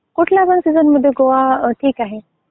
कुठल्या पण सीझनमध्ये गोवा ठीक आहे.